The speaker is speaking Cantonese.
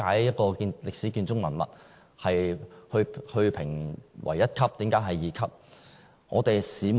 一個歷史建築文物為何會被評為一級或二級，我們無從稽考。